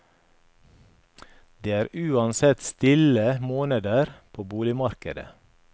Det er uansett stille måneder på boligmarkedet.